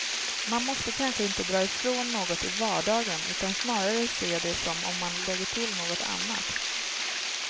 Man måste kanske inte dra ifrån något i vardagen, utan snarare se det som om man lägger till något annat.